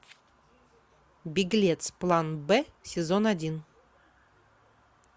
беглец план б сезон один